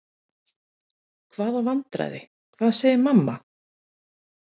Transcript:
Hvaða vandræði, hvað segir mamma?